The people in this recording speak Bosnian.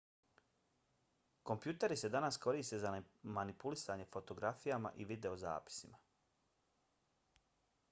kompjuteri se danas koriste za manipulisanje fotografijama i videozapisima